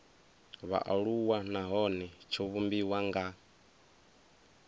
vhaaluwa nahone tsho vhumbiwa nga